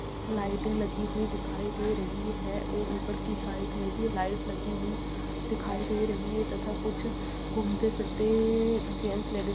लाइटे लगी हुई दिखाई दे रही है और ऊपर की साइड मे भी लाइट लगी हुई दिखाई दे रही है तथा कुछ घूमते-फिरते जैंट्स लेडिज --